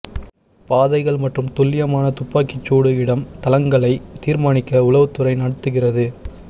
பாதைகள் மற்றும் துல்லியமான துப்பாக்கி சூடு இடம் தளங்களை தீர்மானிக்க உளவுத்துறை நடத்துகிறது